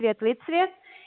светлый цвет